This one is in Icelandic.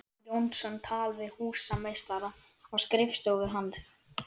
Jónsson tal við húsameistara á skrifstofu hans.